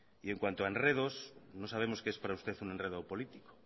y en cuanto a enredos no sabemos qué es para usted un enredo político